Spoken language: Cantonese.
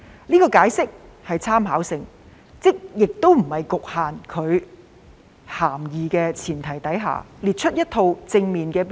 這個解釋屬參考性質，即在不局限其涵義的前提下，列出一套正面的標準。